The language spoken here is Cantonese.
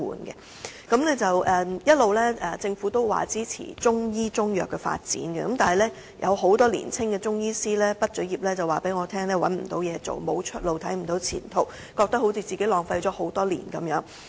政府一直表示支持中醫及中藥的發展，但很多年輕中醫師告訴我畢業後找不到工作，沒有出路，看不到前途，感覺自己浪費了多年時間。